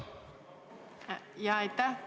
Aitäh!